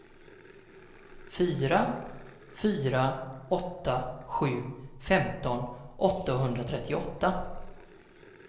fyra fyra åtta sju femton åttahundratrettioåtta